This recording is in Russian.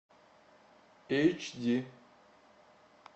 эйч ди